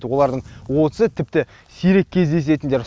олардың отызы тіпті сирек кездесетіндер